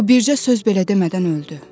O bircə söz belə demədən öldü.